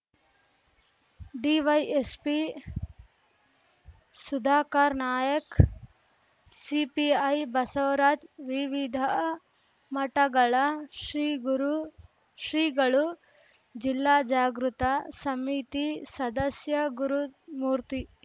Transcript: DYSP Sudhakar ನಾಯಕ್‌ಸಿಪಿಐ ಬಸವರಾಜ್‌ವಿವಿಧ ಮಠಗಳ ಶ್ರೀಗುರು ಶ್ರೀಗಳುಜಿಲ್ಲಾ ಜಾಗೃತ ಸಮಿತಿ ಸದಸ್ಯ ಗುರುಮೂರ್ತಿ